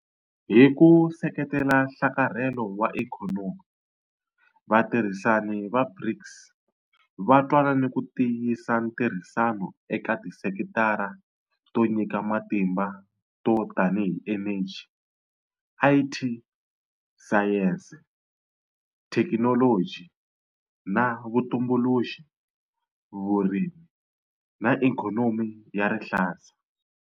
Hi ku seketela nhlakarhelo wa ikhonomi, vatirhisani va BRICS va twanane ku tiyisa ntirhisano eka tisekitara to nyika matimba to tanihi eneji, IT, sayense, thekinoloji na vutumbuluxi, vurimi na ikhonomi ya rihlaza.